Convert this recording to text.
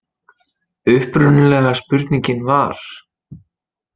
Upprunalega spurningin var: